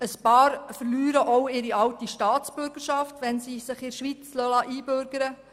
Einige würden auch ihre alte Staatsbürgerschaft verlieren, wenn sie sich in der Schweiz einbürgern lassen würden.